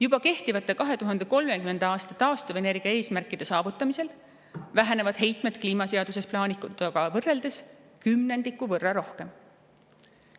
Juba kehtivate 2030. aasta taastuvenergia eesmärkide saavutamise korral vähenevad heitmed kliimaseaduses plaanituga võrreldes kümnendiku võrra rohkem.